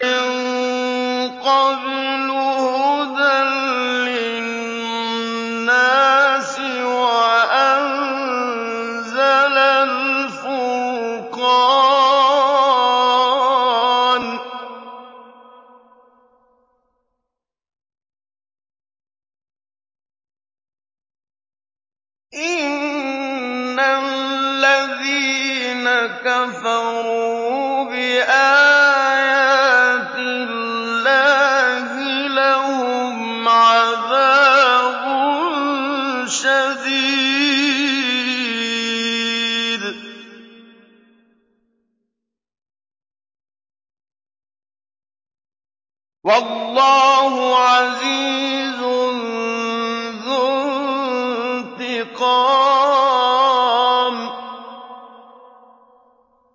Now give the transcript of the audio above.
مِن قَبْلُ هُدًى لِّلنَّاسِ وَأَنزَلَ الْفُرْقَانَ ۗ إِنَّ الَّذِينَ كَفَرُوا بِآيَاتِ اللَّهِ لَهُمْ عَذَابٌ شَدِيدٌ ۗ وَاللَّهُ عَزِيزٌ ذُو انتِقَامٍ